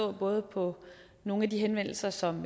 er både på nogle af de henvendelser som